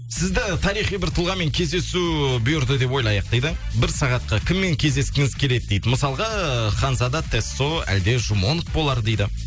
сізді тарихи бір тұлғамен кездесу бұйырды деп ойлайық дейді бір сағатқа кіммен кездескіңіз келеді дейді мысалға ханзада тесо әлде жумонг болар дейді